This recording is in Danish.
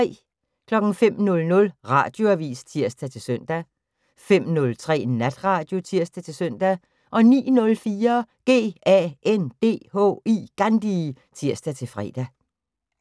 05:00: Radioavis (tir-søn) 05:03: Natradio (tir-søn) 09:04: GANDHI (tir-fre)